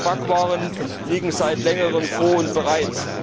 Backwaren liegen seit Längerem vor und bereit.